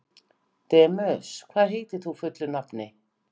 Demus, hvað heitir þú fullu nafni?